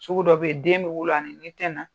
Sugu dɔ be yen, den be wolo a ni ni tɛ na